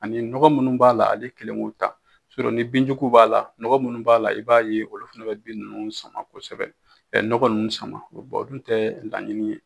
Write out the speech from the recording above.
Ani nɔgɔ minnu b'a la, ale kelen k'u ta, ni bin jugu b'a la nɔgɔ minnu b'a la i b'a ye olu fana bɛ bin ninnu sama kosɛbɛ, ɛ nɔgɔ ninnu sama kosɛbɛ, o dun tɛ laɲini ye